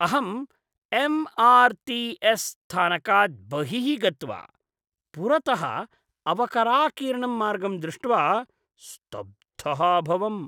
अहम् M R T S स्थानकात् बहिः गत्वा पुरतः अवकराकीर्णं मार्गं दृष्ट्वा स्तब्धः अभवम्।